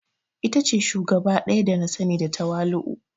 Ita ce shugaba daya da na sani da tawali'u.